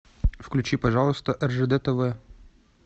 включи пожалуйста ржд тв